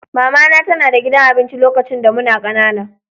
Mama na tana da gidan abinci lokacin da muna ƙanana.